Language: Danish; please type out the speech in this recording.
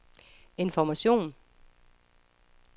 information